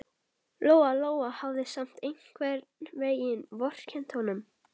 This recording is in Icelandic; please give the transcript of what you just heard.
Lóa Lóa hafði samt einhvern veginn vorkennt honum.